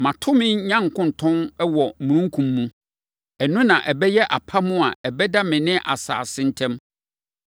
Mato me nyankontɔn wɔ omununkum mu. Ɛno na ɛbɛyɛ apam a ɛbɛda me ne asase ntam.